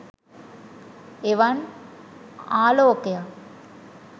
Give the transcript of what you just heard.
එවන් ආලෝකයක්